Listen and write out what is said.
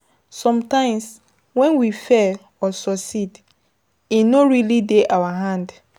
Sometimes when we fail or succeed e no really dey our hand